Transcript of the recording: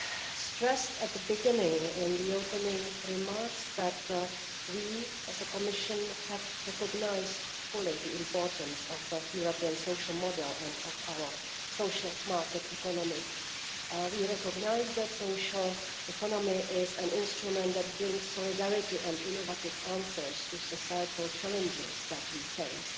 I stressed at the beginning in the opening remarks that we, as the Commission, have fully recognised the importance of the European social model and of our social market economy. We recognise that the social economy is an instrument that brings solidarity and innovative answers to societal challenges that we face,